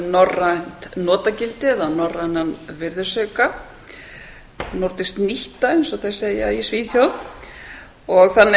norrænt notagildi eða norrænan virðisauka nordisk nytta eins og þeir segja í svíþjóð þannig að